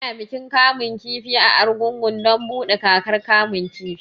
Ana bikin kamun kifi a Argungun don buɗe kakar kamun kifi